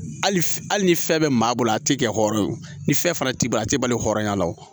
Hali ni fɛn bɛ maa bolo a tɛ kɛ hɔrɔn ye o ni fɛn fana t'i bolo a tɛ balo hɔrɔnya la wo